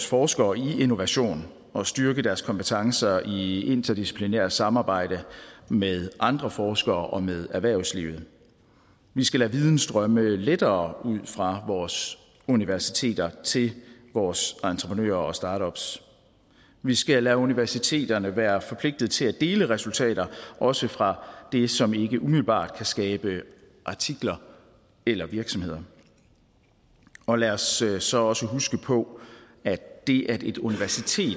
forskere i innovation og styrke deres kompetencer i interdisciplinært samarbejde med andre forskere og med erhvervslivet vi skal lade viden strømme lettere ud fra vores universiteter til vores entreprenører og startups vi skal lade universiteterne være forpligtet til at dele resultater også fra det som ikke umiddelbart kan skabe artikler eller virksomheder og lad os så så også huske på at det at et universitet